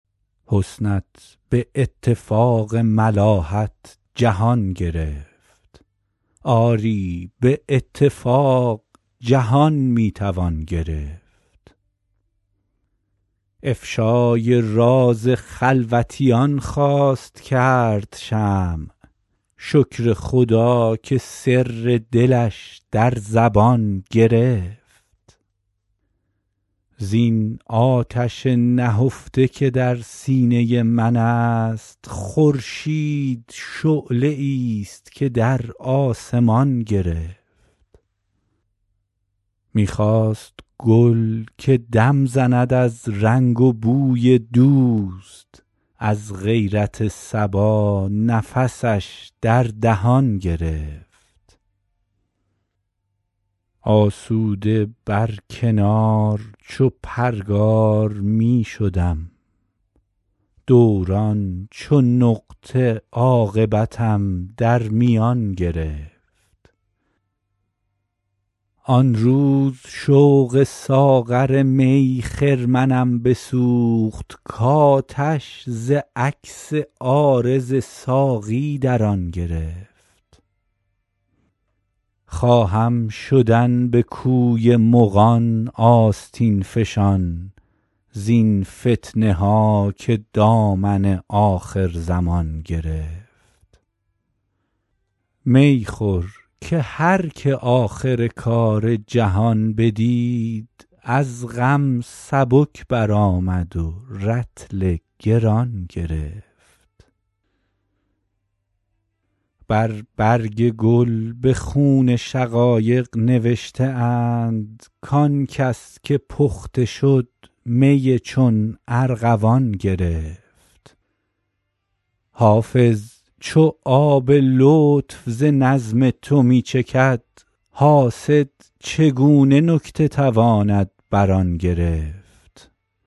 حسنت به اتفاق ملاحت جهان گرفت آری به اتفاق جهان می توان گرفت افشای راز خلوتیان خواست کرد شمع شکر خدا که سر دلش در زبان گرفت زین آتش نهفته که در سینه من است خورشید شعله ای ست که در آسمان گرفت می خواست گل که دم زند از رنگ و بوی دوست از غیرت صبا نفسش در دهان گرفت آسوده بر کنار چو پرگار می شدم دوران چو نقطه عاقبتم در میان گرفت آن روز شوق ساغر می خرمنم بسوخت کآتش ز عکس عارض ساقی در آن گرفت خواهم شدن به کوی مغان آستین فشان زین فتنه ها که دامن آخرزمان گرفت می خور که هر که آخر کار جهان بدید از غم سبک برآمد و رطل گران گرفت بر برگ گل به خون شقایق نوشته اند کآن کس که پخته شد می چون ارغوان گرفت حافظ چو آب لطف ز نظم تو می چکد حاسد چگونه نکته تواند بر آن گرفت